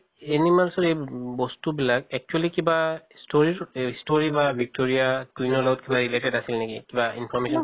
animals ৰ এই উ বস্তু বিলাক actually কিবা story ৰ এহ story কিবা victoria queen ৰ লগত কিবা related আছিলে নেকি? কিবা information